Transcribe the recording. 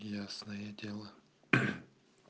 ясное дело